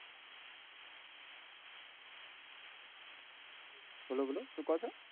બોલો બોલો શું કો છો?